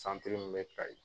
Santiri min be kayi